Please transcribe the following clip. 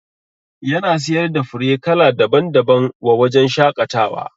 Yana siyar da fure kala daban daban wa wajajen shaƙatawa